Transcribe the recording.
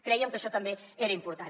crèiem que això també era important